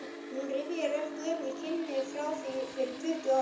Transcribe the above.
Hún rifjar upp gömul kynni frá því fyrir tuttugu árum.